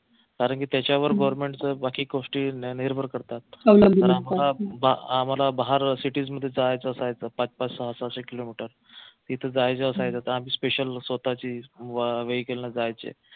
कारंकी त्याच्यावर government च बाकी गोष्टी निर्भर करतात आम्हाला बाहेर cities मध्ये जायचं असायचं पाच पाच सहा सहाशे किलोमीटर तिथं जायचं असायचं तर आम्ही special स्वतःची vehicle ने जायचं